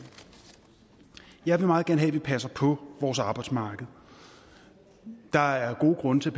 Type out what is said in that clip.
jeg vil meget gerne have at vi passer på vores arbejdsmarked der er gode grunde til